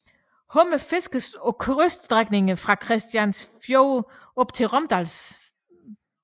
Hummer fiskes på kyststrækningen fra Kristianiafjorden op til Romsdalen